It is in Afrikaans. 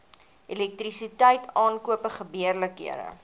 elektrisiteit aankope gebeurlikhede